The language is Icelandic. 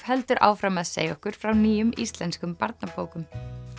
heldur áfram að segja okkur frá nýjum íslenskum barnabókum